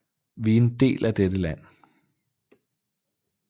Vi er en del af dette land